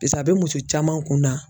a bɛ muso caman kun na